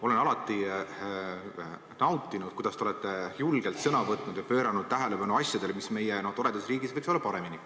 Olen alati nautinud, kuidas te olete julgelt sõna võtnud ja juhtinud tähelepanu asjadele, mis meie toredas riigis võiks olla paremini.